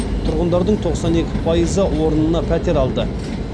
тұрғындардың тоқсан екі пайызы орнына пәтер алды